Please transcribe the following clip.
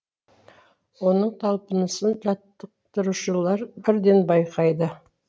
оның талпынысын жаттықтырушылар бірден байқайды